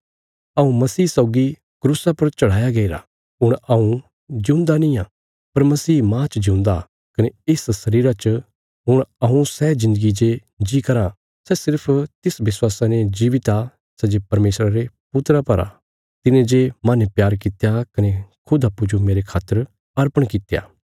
हऊँ मसीह सौगी क्रूसा पर चढ़ाया गईरा हुण हऊँ जिऊंदा निआं पर मसीह माह च जिऊंदा कने इस शरीरा च हुण हऊँ सै जिन्दगी जे जी कराँ सै सिर्फ तिस विश्वासा ने जीवित आ सै जे परमेशरा रे पुत्रा पर आ तिने जे माहने प्यार कित्या कने खुद अप्पूँजो मेरे खातर अर्पण कित्या